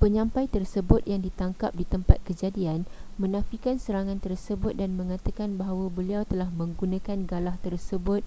penyampai tersebut yang ditangkap di tempat kejadian menafikan serangan tersebut dan mengatakan bahawa beliau telah menggunakan galah tersebut